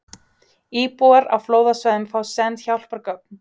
Íbúar á flóðasvæðum fá send hjálpargögn